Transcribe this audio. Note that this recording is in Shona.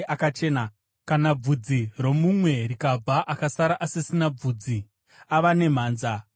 “Kana bvudzi romumwe rikabva akasara asisina bvudzi, ava nemhanza, akachena.